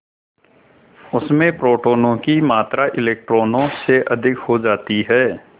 उसमें प्रोटोनों की मात्रा इलेक्ट्रॉनों से अधिक हो जाती है